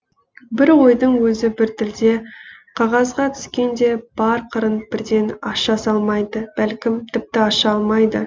бір ойдың өзі бір тілде қағазға түскенде бар қырын бірден аша салмайды бәлкім тіпті аша алмайды